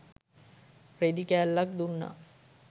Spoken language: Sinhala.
රෙදි කෑල්ලක් දුන්නා.